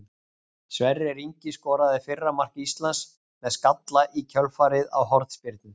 Sverrir Ingi skoraði fyrra mark Íslands með skalla í kjölfarið á hornspyrnu.